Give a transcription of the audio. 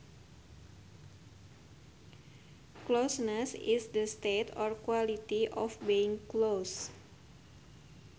Closeness is the state or quality of being close